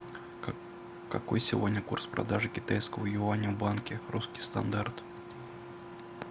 какой сегодня курс продажи китайского юаня в банке русский стандарт